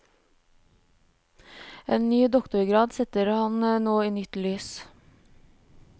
En ny doktorgrad setter ham nå i nytt lys.